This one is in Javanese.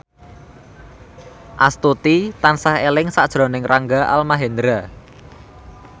Astuti tansah eling sakjroning Rangga Almahendra